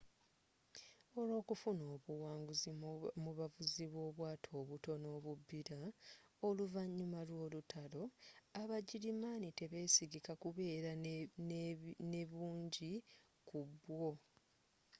olwokufuna obuwanguzi mu bavuzi b'obwato obutono obubbira oluvanyuma lw'olutalo abagirimaani tebesigika kubeera ne bungi ku bwo